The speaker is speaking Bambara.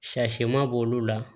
Shɛ finman b'olu la